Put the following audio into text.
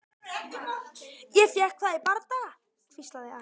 Ég fékk það í bardaga, hvíslaði Ari.